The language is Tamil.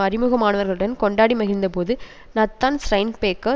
அறிமுகமானவர்களுடன் கொண்டாடி மகிழ்ந்த போது நத்தான் ஸ்ரைன்பேர்க்கர்